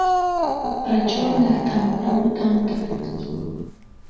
про черных там про мутантов